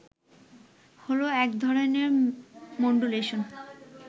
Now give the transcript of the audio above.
হলো এক ধরনের মড্যুলেশন